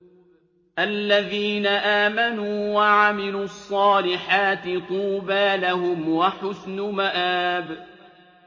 الَّذِينَ آمَنُوا وَعَمِلُوا الصَّالِحَاتِ طُوبَىٰ لَهُمْ وَحُسْنُ مَآبٍ